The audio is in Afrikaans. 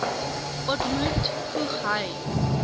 ontmoet voeg hy